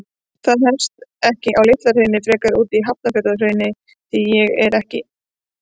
Það hefst ekki á Litla-Hrauni, frekar úti í Hafnarfjarðarhrauni, því ég er alinn upp í